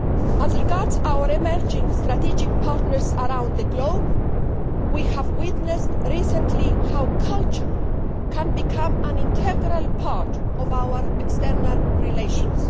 As regards our emerging strategic partners around the globe, we have witnessed recently how culture can become an integral part of our external relations.